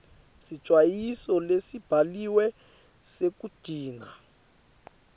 sicwayiso lesibhaliwe sekugcina